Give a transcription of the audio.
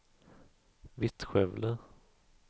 Vittskövle